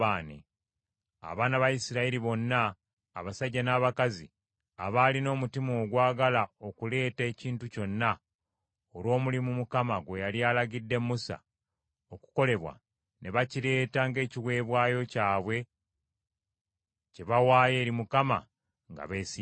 Abaana ba Isirayiri bonna, abasajja n’abakazi, abaalina omutima ogwagala okuleeta ekintu kyonna olw’omulimu Mukama gwe yali alagidde Musa okukolebwa, ne bakireeta ng’ekiweebwayo kyabwe kye baawaayo eri Mukama nga beesiimidde.